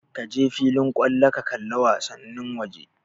Kaje filin kallo ka kalli wasannin waje